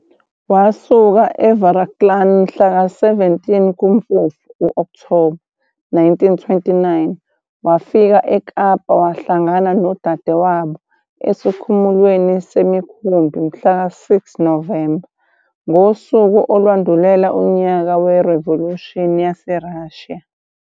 Wasuka eVaraklan mhla ka 17 kuMfumfu, Okthoba, 1929 futhi wafika eKapa wahlangana nodadewabo esikhumulweni semikhumbi mhlaka 6 Novemba 1929, ngosuku olwalundulela unyaka weRivolushini YaseRussia.